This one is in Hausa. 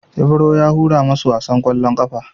Ibro ya hura masu wasan ƙwallon ƙafan.